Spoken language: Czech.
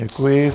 Děkuji.